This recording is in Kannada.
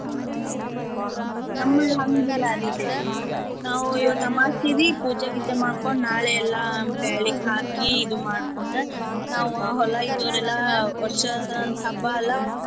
ಹ ಹ ನಮ್ಮಲ್ ಹಂಗ ಇಲ್ಲಾ ರೀ ಇಲ್ಲೇ ನಾವೂ ಇವತ್ತ ಅಮಾಸ್ಸಿರೀ ಪೂಜೆ ಗೀಜೆ ಮಾಡ್ಕೊಂಡ್ ನಾಳೇ ಎಲ್ಲಾ ಬ್ಯಾಳಿಗ್ ಹಾಕಿ ಇದು ಮಾಡ್ಕೋಂಡ್ ನಾವೂ ಹೊಲಾ ಇದ್ದೊರೆೇಲ್ಲ ವರ್ಷ ಹಬ್ಬಾ ಅಲ್ಲಾ.